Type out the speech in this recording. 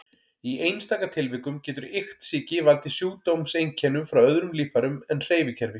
Í einstaka tilvikum getur iktsýki valdið sjúkdómseinkennum frá öðrum líffærum en hreyfikerfi.